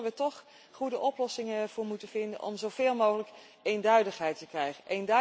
Dus daar zullen we toch goede oplossingen voor moeten vinden om zoveel mogelijk eenduidigheid te krijgen.